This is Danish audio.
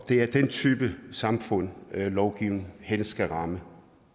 er den type samfund lovgivningen helst skal ramme